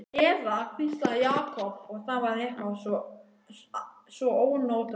Eða hvíslaði, Jakob, og það var eitthvað svo ónotalegt.